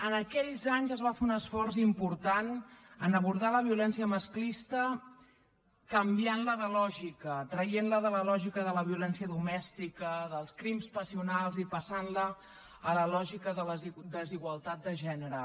en aquells anys es va fer un esforç important per abordar la violència masclista canviant la de lògica traient la de la lògica de la violència domèstica dels crims passionals i passant la a la lògica de la desigualtat de gènere